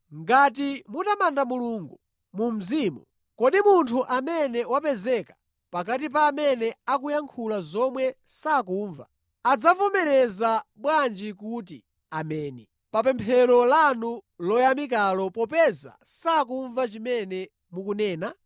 Ngati mutamanda Mulungu mu mzimu, kodi munthu amene wapezeka pakati pa amene akuyankhula zomwe sakumva, adzavomereza bwanji kuti “Ameni” pa pemphero lanu loyamikalo popeza sakumva chimene mukunena?